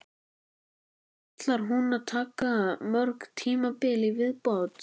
Ætlar hún að taka mörg tímabil í viðbót?